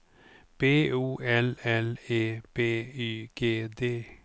B O L L E B Y G D